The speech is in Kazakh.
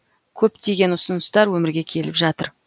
көптеген ұсыныстар өмірге келіп жатыр